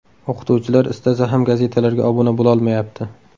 O‘qituvchilar istasa ham gazetalarga obuna bo‘lolmayapti.